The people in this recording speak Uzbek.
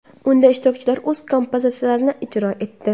Unda ishtirokchilar o‘z kompozitsiyalarini ijro etdi.